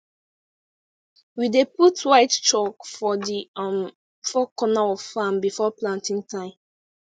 we dey put white chalk for the um four corner of farm before planting time